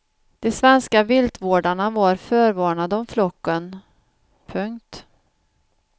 De svenska viltvårdarna var förvarnade om flocken. punkt